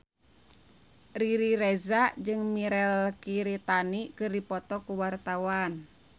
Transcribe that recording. Riri Reza jeung Mirei Kiritani keur dipoto ku wartawan